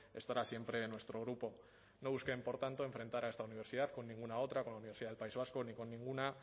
estará siempre nuestro grupo no busquen por tanto enfrentar a esta universidad con ninguna otra con la universidad del país vasco ni con ninguna